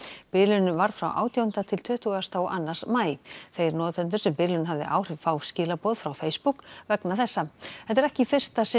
bilunin varð frá átjándu til tuttugasta og annan maí þeir notendur sem bilunin hafði áhrif fá skilaboð frá Facebook vegna þessa þetta er ekki í fyrsta sinn